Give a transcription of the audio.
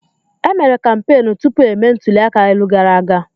E mere kampeenụ́ tupu emee ntuli aka elu gara aga.